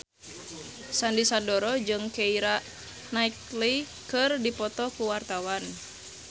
Sandy Sandoro jeung Keira Knightley keur dipoto ku wartawan